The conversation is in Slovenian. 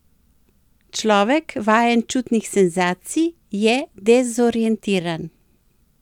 Človek, vajen čutnih senzacij, je dezorientiran.